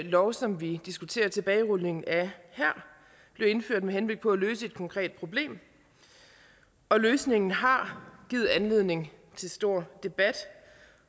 lov som vi diskuterer tilbagerulning af her blev indført med henblik på at løse et konkret problem og løsningen har givet anledning til stor debat